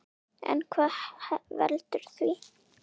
En hvað veldur því?